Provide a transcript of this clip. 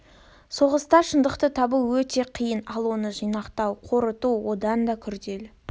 соғыста шындықты табу өте қиын ал оны жинақтау қорыту одан да күрделі